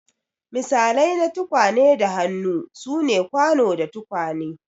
Misalai na tukwane da hannu sune kwano da tukwane.